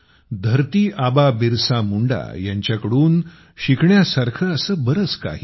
धरती आबा बिरसा मुंडा यांच्याकडून शिकण्यासारखे असे बरेच काही आहे